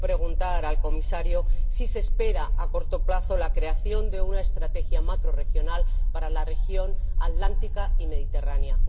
Quiero preguntar al Comisario si se espera a corto plazo la creación de una estrategia macrorregional para las regiones atlántica y mediterránea.